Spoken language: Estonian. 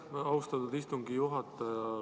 Aitäh, austatud istungi juhataja!